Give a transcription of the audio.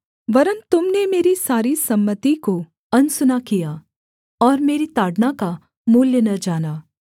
वरन् तुम ने मेरी सारी सम्मति को अनसुना किया और मेरी ताड़ना का मूल्य न जाना